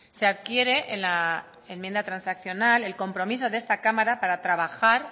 se adquiere en la enmienda transaccional el compromiso de esta cámara para trabajar